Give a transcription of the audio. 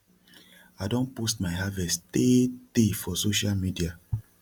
i don post my harvest tey tey for social media